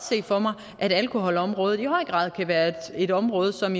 se for mig at alkoholområdet i høj grad kan være et område som